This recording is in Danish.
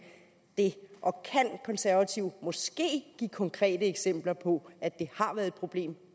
det og kan konservative måske give konkrete eksempler på at det har været et problem